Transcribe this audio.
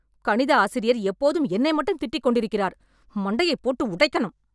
கணித ஆசிரியர் எப்போதும் என்னை மட்டும் திட்டி கொண்டிருக்கிறார். மண்டையப் போட்டு உடைக்கணும்